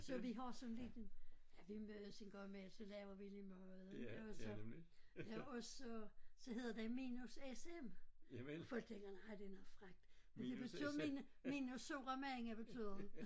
Så vi har sådan lidt en ja vi mødes en gang imellem så laver vi lidt mad og så ja og så så hedder det minus S M folk tænker nej det er noget frækt men det betyder mine minus sure mænd betyder det